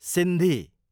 Sindhi